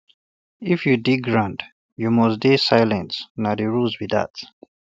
if you dig um ground you must dey um silence na the rule be dat